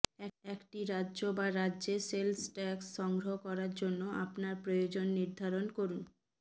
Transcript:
একটি রাজ্য বা রাজ্যে সেলস ট্যাক্স সংগ্রহ করার জন্য আপনার প্রয়োজন নির্ধারণ করুন